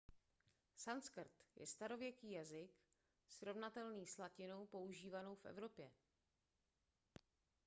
sanskrt je starověký jazyk srovnatelný s latinou používanou v evropě